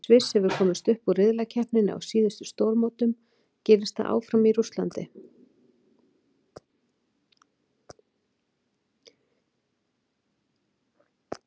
Sviss hefur komist upp úr riðlakeppninni á síðustu stórmótum, gerist það áfram í Rússlandi?